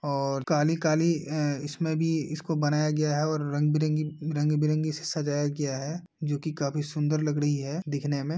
और काली काली अ इसमें भी इसको बनाया गया है और रंगबिरंगी रंगबिरंगी इसे सजाया गया है जो की काफ़ी सुन्दर लग रही है दिखने में।